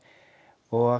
og